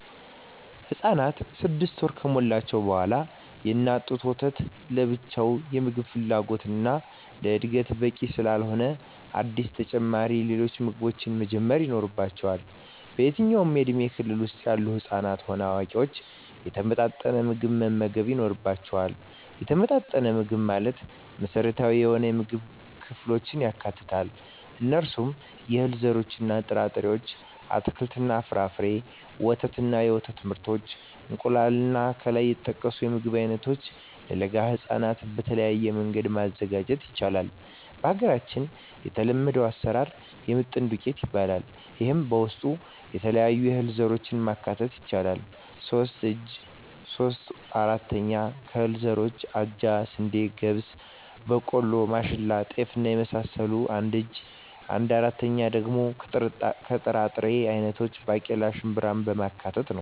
ህፃናት ስድስት ወር ከሞላቸዉ በኋላ የእናት ጡት ወተት ለብቻዉ የምግብ ፍላጎታቸዉን እና ለእድገታቸዉ በቂ ስላልሆነ አዲስ ተጨማሪ ሌሎች ምግቦችን መጀመር ይኖሮባቸዋል በየትኛዉም የእድሜ ክልል ዉስጥ ያሉ ህፃናትም ሆነ አዋቂዎች የተመጣጠነ ምግብ መመገብ ይኖርባየዋል የተመጣጠነ ምግብ ማለት መሰረታዊ የሆኑየምግብ ክፍሎችን ያካትታል እነርሱም - የእህል ዘሮችእና ጥራጥሬዎች - አትክልትና ፍራፍሬ - ወተት እና የወተት ምርቶች - እንቁላል ከላይ የተጠቀሱትን የምግብ አይነቶች ለለጋ ህፃናት በተለየ መንገድ ማዘጋጀት ይቻላል በሀገራችን የተለመደዉ አሰራር የምጥን ዱቄት ይባላል ይሄም በዉስጡ የተለያዩ የእህል ዘሮችን ማካተት ይቻላል ሶስት እጂ (3/4) ከእህል ዘሮች አጃ፣ ስንዴ፣ ገብስ፣ ቦቆሎማሽላ፣ ጤፍ እና የመሳሰሉት አንድ እጂ(1/4)ደሞ ከጥራጥሬ አይነቶች ባቄላ፣ ሽንብራማካተት ነዉ